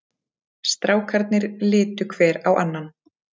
Strákarnir litu hver á annan.